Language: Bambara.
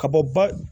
Ka bɔ ba